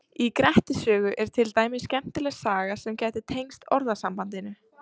Í Grettis sögu er til dæmis skemmtileg saga sem gæti tengst orðasambandinu.